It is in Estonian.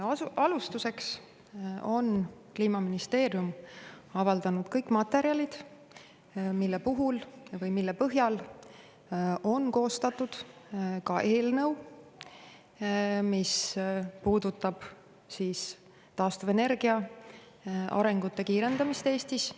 Alustuseks: Kliimaministeerium on avaldanud kõik materjalid, mille põhjal on koostatud ka eelnõu, mis puudutab taastuvenergia arengute kiirendamist Eestis.